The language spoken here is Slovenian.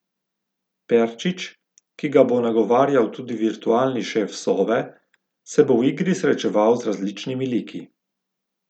Perčič, ki ga bo nagovarjal tudi virtualni šef Sove, se bo v igri srečeval z različnimi liki.